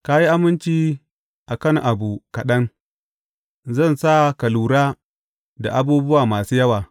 Ka yi aminci a kan abubuwa kaɗan, zan sa ka lura da abubuwa masu yawa.